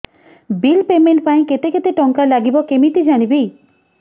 bill payment ପାଇଁ କେତେ କେତେ ଟଙ୍କା ଲାଗିବ କେମିତି ଜାଣିବି